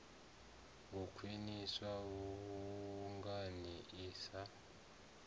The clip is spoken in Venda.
u khwiniswa vhunga i sa